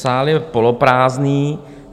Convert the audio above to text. Sál je poloprázdný.